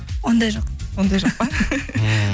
ондай жоқ ондай жоқ па